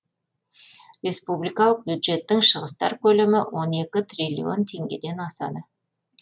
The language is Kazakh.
республикалық бюджеттің шығыстар көлемі он екі триллион теңгеден асады